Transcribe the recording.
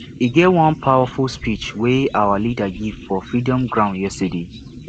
e get one powerful speech wey our leader give for freedom ground yesterday